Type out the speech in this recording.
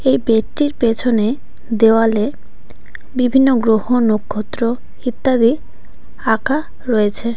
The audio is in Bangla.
এই বেডটির পেছনে দেওয়ালে বিভিন্ন গ্রহ নক্ষত্র ইত্যাদি আঁকা রয়েছে.